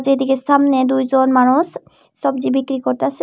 যেদিকে সামনে দুইজন মানুষ সবজি বিক্রি করতাছে।